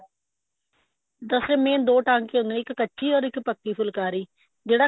ਵੈਸੇ main ਦੋ ਟਾਂਕੇ ਹੁੰਦੇ ਨੇ ਇੱਕ ਕੱਚੀ or ਇੱਕ ਪੱਕੀ ਫੁਲਕਾਰੀ ਜਿਹੜਾ